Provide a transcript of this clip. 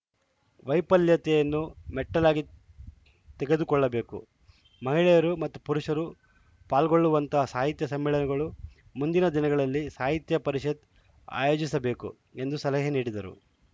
ವೈಫಲ್ಯತೆಯನ್ನು ಮೆಟ್ಟಲಾಗಿ ತೆಗೆದುಕೊಳ್ಳಬೇಕು ಮಹಿಳೆಯರು ಮತ್ತು ಪುರುಷರು ಪಾಲ್ಗೊಳ್ಳುವಂತ ಸಾಹಿತ್ಯ ಸಮ್ಮೇಳನಗಳು ಮುಂದಿನ ದಿನಗಳಲ್ಲಿ ಸಾಹಿತ್ಯ ಪರಿಷತ್‌ ಆಯೋಜಿಸಬೇಕು ಎಂದು ಸಲಹೆ ನೀಡಿದರು